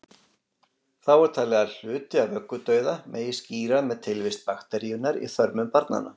Þá er talið að hluti af vöggudauða megi skýra með tilvist bakteríunnar í þörmum barnanna.